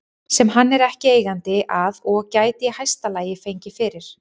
sem hann er ekki eigandi að og gæti í hæsta lagi fengið fyrir